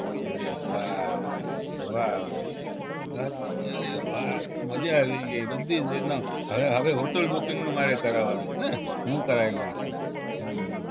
અરે વાહ વાહ દસ અરે વાહ મજા આવી ગઈ બધી જ રીતના હવે હવે hotel booking નું મારે કરાવાનું ને હું કરાવી લઈશ ઈ હમ